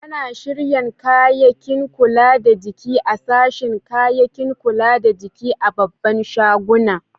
Ana shiryan kayakin kula da jiki a'sashin kayakin kula da jiki a'babban shaguna.